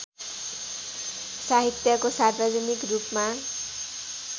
साहित्यको सार्वजनिक रूपमा